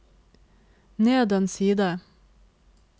ned en side